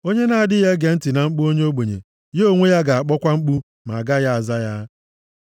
Onye na-adịghị ege ntị na mkpu onye ogbenye, ya onwe ya ga-akpọkwa mkpu ma agaghị aza ya.